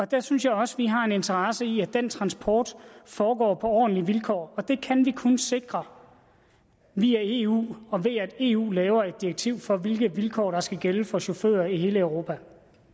der synes jeg også vi har en interesse i at den transport foregår på ordentlige vilkår og det kan vi kun sikre via eu og ved at eu laver et direktiv for hvilke vilkår der skal gælde for chauffører i hele europa